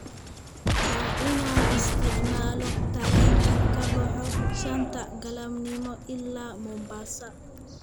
Waa inaan isticmaalo tareenka ka baxa shanta galabnimo ilaa Mombasa